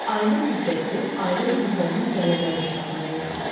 Ailə büdcəsi ailə üzvlərinin gəlirləri hesabına yaranır.